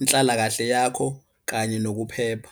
inhlalakahle yakho kanye nokuphepha.